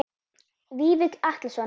Vífill Atlason